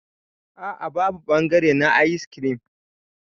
A'a babu bangare na ayis kirim.